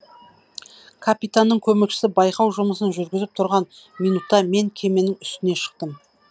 капитанның көмекшісі байқау жұмысын жүргізіп тұрған минутта мен кеменің үстіне шықтым